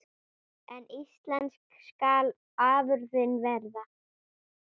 En íslensk skal afurðin vera.